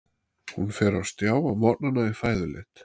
hún fer á stjá á morgnana í fæðuleit